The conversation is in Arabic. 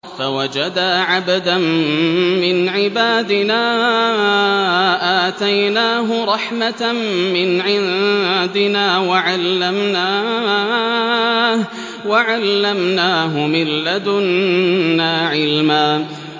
فَوَجَدَا عَبْدًا مِّنْ عِبَادِنَا آتَيْنَاهُ رَحْمَةً مِّنْ عِندِنَا وَعَلَّمْنَاهُ مِن لَّدُنَّا عِلْمًا